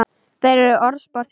Þær eru orðspor þitt.